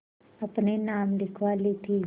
अपने नाम लिखवा ली थी